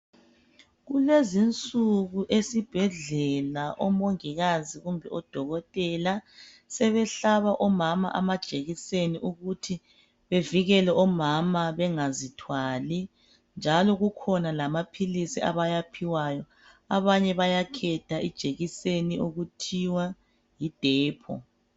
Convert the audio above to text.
Kulezinsuku esibhedlela omongikazi kumbe odokotela sebehlaba omama amajekiseni ukuthi bevikele omama bengazithwali njalo kukhona lamaphilisi abawaphiwayo abanye bayakhetha ijekiseni okuthiwa Yi Depo